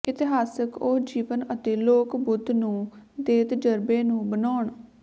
ਇਤਿਹਾਸਕ ਉਹ ਜੀਵਨ ਅਤੇ ਲੋਕ ਬੁੱਧ ਨੂੰ ਦੇ ਤਜਰਬੇ ਨੂੰ ਬਣਾਉਣ